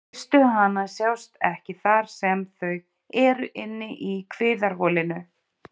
Eistu hana sjást ekki þar sem þau eru inni í kviðarholinu.